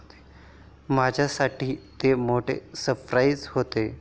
माझ्यासाठी ते मोठे सरप्राईज होते.